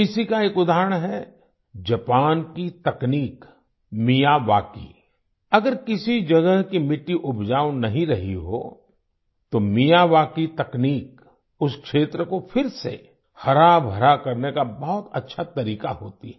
इसी का एक उदाहरण है जापान की तकनीक मियावाकी अगर किसी जगह की मिट्टी उपजाऊ नहीं रही हो तो मियावाकी तकनीक उस क्षेत्र को फिर से हराभरा करने का बहुत अच्छा तरीका होती है